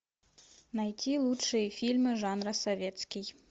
найти лучшие фильмы жанра советский